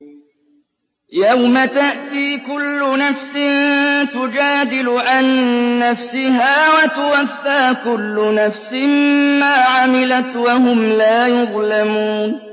۞ يَوْمَ تَأْتِي كُلُّ نَفْسٍ تُجَادِلُ عَن نَّفْسِهَا وَتُوَفَّىٰ كُلُّ نَفْسٍ مَّا عَمِلَتْ وَهُمْ لَا يُظْلَمُونَ